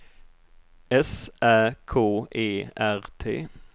S Ä K E R T